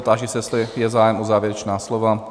Táži se, jestli je zájem o závěrečná slova?